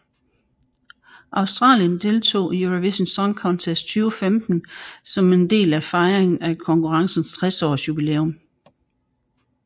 Australien deltog i Eurovision Song Contest 2015 som en del af fejringen af konkurrencens 60 års jubilæum